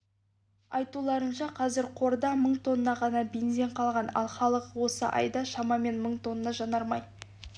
айтуларынша қазір қорда мың тонна ғана бензин қалған ал халық осы айда шамамен мың тонна жанармай